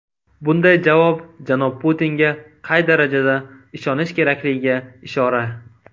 Bunday javob janob Putinga qay darajada ishonish kerakligiga ishora.